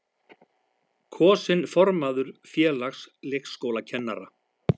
Kosinn formaður Félags leikskólakennara